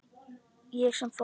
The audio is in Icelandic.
Ég sem fór.